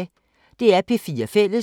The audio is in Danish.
DR P4 Fælles